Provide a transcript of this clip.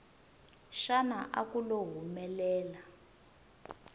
xana a ku lo humelela